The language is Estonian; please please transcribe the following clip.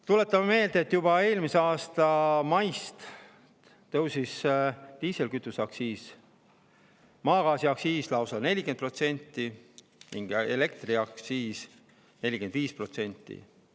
Tuletame meelde, et juba eelmise aasta mais tõusis diislikütuseaktsiis, maagaasiaktsiis lausa ning elektriaktsiis 45%.